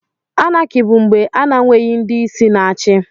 Anákị bù mgbè a n'enweghị ndị isi na-achị